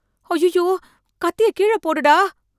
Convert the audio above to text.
அய்யய்யோ கத்திய கீழ போடுடா